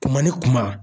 Kuma ni kuma